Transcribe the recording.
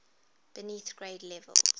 beneath grade levels